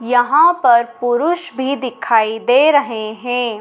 यहां पर पुरुष भी दिखाई दे रहे हैं।